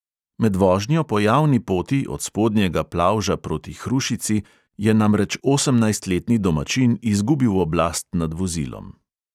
Med vožnjo po javni poti od spodnjega plavža proti hrušici je namreč osemnajstletni domačin izgubil oblast nad vozilom.